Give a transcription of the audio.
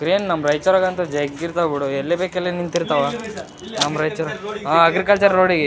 Crane ನಮ ರೈಚೂರಗಂತು ಜಗ್ಗ ಇರ್ತವು ಬಿಡು ಎಲ್ಲಿ ಬೆಕೆಲ್ಲಿ ನಿಂತಿರ್ತಾವ ಇಲ್ಲಿ ಇಲ್ಲಿ ನೋಡಿ ಸಾರ್ ನಂ ರೈಚೂರ್ ಇಲ್ಲೇ ಆಆ ಅಗ್ರಿಕಲ್ಚರ್ ರೋಡಿಗೆ .